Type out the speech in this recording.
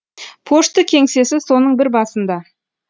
пошты кеңсесі соның бір басында